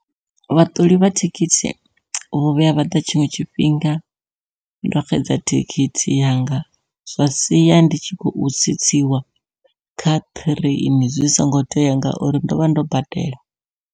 Vhaṱoli vha thikhithi vho vhuya vha ḓa tshiṅwe tshifhinga ndo xedza thikhithi yanga, zwa siya ndi tshi khou tsitsiwa kha ṱireini zwi songo tea ngauri ndovha ndo badela.